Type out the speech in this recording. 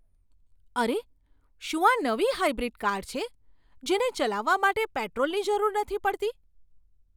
અરે! શું આ નવી હાઇબ્રિડ કાર છે, જેને ચલાવવા માટે પેટ્રોલની જરૂર નથી પડતી?